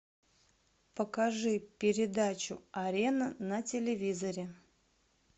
покажи передачу арена на телевизоре